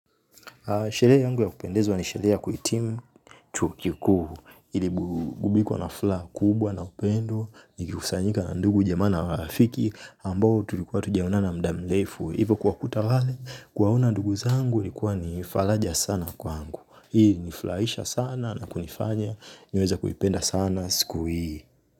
Sherehe yangu ya kupendezwa ni sherehe ya kuitimu chuo kikuu, iliburudikwa na fla kubwa na upendo, nikikusanyika na ndugu jamaa na marafiki, ambao tulikuwa tujaonana muda mrefu, ivo kuwakuta wale, kuwaona ndugu zangu likuwa nifaraja sana kwangu. Hii ilinifurahisha sana na kunifanya, niweze kuipenda sana, siku hii.